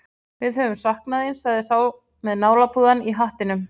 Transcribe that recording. Við höfum saknað þín, sagði sá með nálapúðann í hattinum.